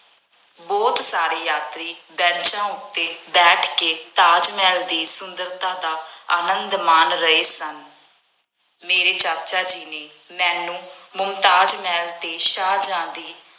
ਬਹੁਤ ਸਾਰੇ ਯਾਤਰੀ ਬੈਂਚਾਂ ਉੱਤੇ ਬੈਠ ਕੇ ਤਾਜ ਮਹਿਲ ਦੀ ਸੁੰਦਰਤਾ ਦਾ ਆਨੰਦ ਮਾਣ ਰਹੇ ਸਨ। ਮੇਰੇ ਚਾਚਾ ਜੀ ਨੇ ਮੈਨੂੰ ਮੁਮਤਾਜ਼ ਮਹਿਲ ਅਤੇ ਸ਼ਾਹਜਹਾਂ ਦੀ